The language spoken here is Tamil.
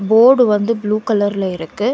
போர்டு வந்து ப்ளூ கலர்ல இருக்கு.